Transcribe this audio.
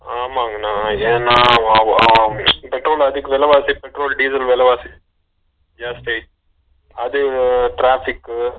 ஆம்மாங்கன்னா ஏன்னா அஹ அஹ கிட்டத்தட்ட நேத்திக்கி விலைவாசி பெட்ரோல் டிசல் விலைவாசி silent ஜாஸ்தி ஆகிடுச்சு அதுவு traffic க்கு